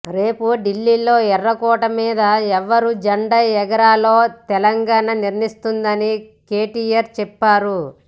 రేపు ఢిల్లీలో ఎర్రకోట మీద ఎవరు జెండా ఎగరేయాలో తెలంగాణ నిర్ణయిస్తుందని కెటిఆర్ చెప్పారు